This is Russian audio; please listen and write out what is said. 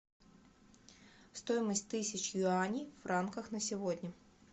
стоимость тысячи юаней в франках на сегодня